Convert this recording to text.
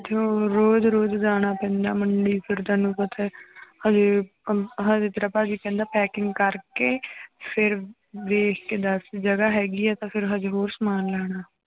ਤੇ ਰੋਜ਼ ਰੋਜ਼ ਜਾਣਾ ਪੈਂਦਾ ਮੰਡੀ ਫਿਰ ਤੈਨੂੰ ਪਤਾ ਹੈ ਹਜੇ ਅਹ ਹਜੇ ਤੇਰਾ ਭਾਜੀ ਕਹਿੰਦਾ packing ਕਰਕੇ ਫਿਰ ਵੇਖ ਕੇ ਦੱਸ ਜਗ੍ਹਾ ਹੈਗੀ ਆ ਤਾਂ ਫਿਰ ਹਜੇ ਹੋਰ ਸਮਾਨ ਲਿਆਉਣਾ